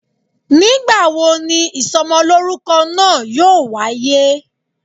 ngbawo ní isómolorúkó naa yọọ wayé?